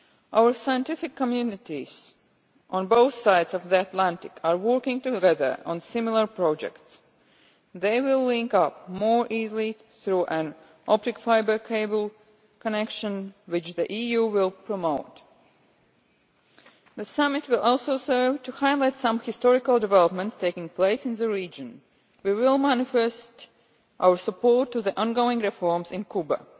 Our scientific communities on both sides of the Atlantic are working together on similar projects they will link up more easily through a fibre optic cable connection which the EU will promote. The summit will also serve to highlight some historical developments taking place in the region. We will manifest our support to the ongoing reforms in Cuba.